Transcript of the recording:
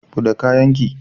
Bude kayan ki!